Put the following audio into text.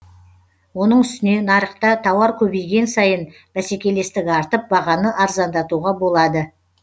оның үстіне нарықта тауар көбейген сайын бәскелестік артып бағаны арзандатуға болады